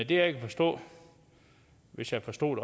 jeg kan forstå hvis jeg forstod